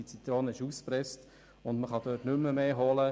Die Zitrone ist ausgepresst, dort ist nicht mehr zu holen.